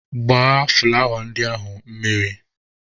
Gbaa fụlawa ndị ahụ mmiri!.